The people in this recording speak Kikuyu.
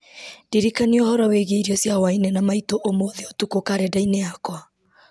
ndirikania ũhoro wĩgiĩ irio cia hwaĩ-inĩ na maitũ ũmũthĩ ũtukũ karenda-inĩ yakwa